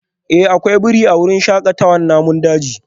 Eh akwai birai a wurin shakatawar namun daji